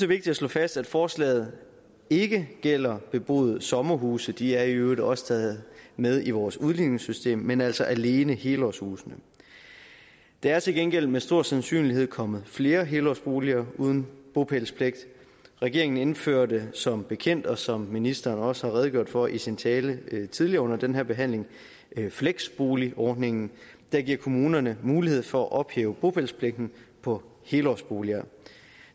vigtigt at slå fast at forslaget ikke gælder beboede sommerhuse de er i øvrigt også taget med i vores udligningssystem men altså alene helårshuse der er til gengæld med stor sandsynlighed kommet flere helårsboliger uden bopælspligt regeringen indførte som bekendt og som ministeren også har redegjort for i sin tale tidligere under den her behandling fleksboligordningen der giver kommunerne mulighed for at ophæve bopælspligten på helårsboliger